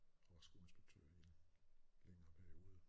Og var skoleinspektør i en længere periode